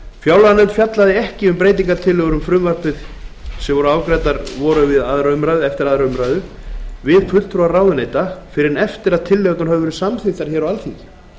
fjárlaganefnd fjallaði ekki um breytingartillögur við frumvarpið sem afgreiddar voru eftir aðra umræðu með fulltrúum ráðuneyta fyrr en eftir að tillögurnar voru samþykktar af stjórnarmeirihlutanum á alþingi